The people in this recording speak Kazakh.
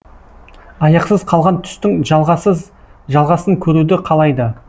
аяқсыз қалған түстің жалғасын көруді қалайды